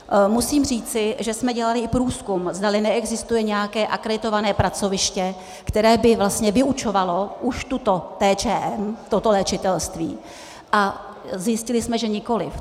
Musím říci, že jsme dělali i průzkum, zdali neexistuje nějaké akreditované pracoviště, které by vlastně vyučovalo už tuto TČM, toto léčitelství, a zjistili jsme, že nikoliv.